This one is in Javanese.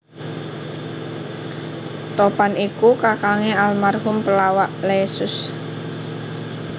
Topan iku kakangné almarhum pelawak Leysus